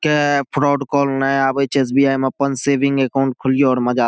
के fraud call न आवे छै एस.बी.आई. में अपन सेविंग अकाउंट खोली और मज़ा --